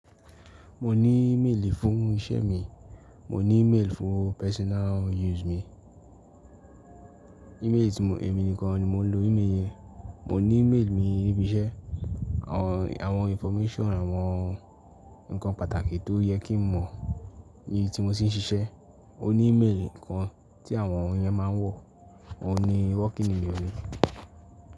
Mo ní e-mail fún iṣẹ́ mi, mo ní e-mail fún personal use mi. E-mail tí mo, èmi nìkan ni mo ń lo e-mail yẹn. Mo ní e-mail mi níbi iṣẹ́, àwọn information àwọn nǹkan pàtàkì tó yẹ kí n mọ̀ ní tí mo sì ń ṣiṣẹ́. O ní e-mail kan tí àwọn ènìyàn máa ń wọ̀, òun ni working e-mail mi.